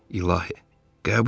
İlahi, qəbul edim?